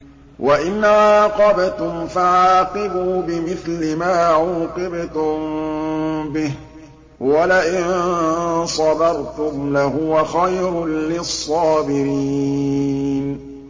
وَإِنْ عَاقَبْتُمْ فَعَاقِبُوا بِمِثْلِ مَا عُوقِبْتُم بِهِ ۖ وَلَئِن صَبَرْتُمْ لَهُوَ خَيْرٌ لِّلصَّابِرِينَ